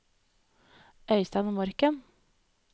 Øystein Morken